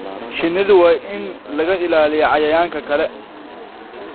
Shinnidu waa in laga ilaaliyaa cayayaanka kale.